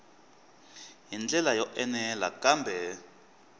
hi ndlela yo enela kambe